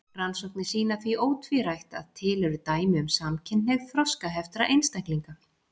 Rannsóknir sýna því ótvírætt að til eru dæmi um samkynhneigð þroskaheftra einstaklinga.